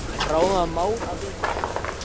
Bráðum var mál að vekja menn.